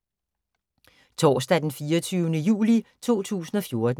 Torsdag d. 24. juli 2014